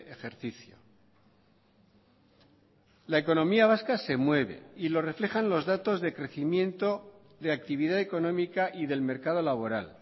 ejercicio la economía vasca se mueve y lo reflejan los datos de crecimiento de actividad económica y del mercado laboral